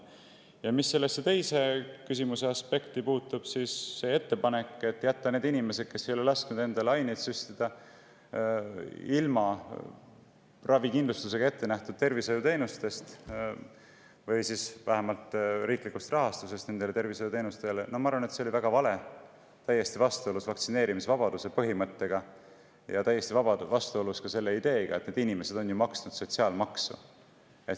Ja mis puudutab küsimuse teist aspekti, siis ettepanek jätta need inimesed, kes ei ole lasknud endale aineid süstida, ravikindlustusega ettenähtud tervishoiuteenustest või vähemasti nende tervishoiuteenuste riiklikust rahastusest ilma, oli minu arvates väga vale, täiesti vastuolus vaktsineerimisvabaduse põhimõttega ja vastuolus selle ideega, sest need inimesed on ju maksnud sotsiaalmaksu.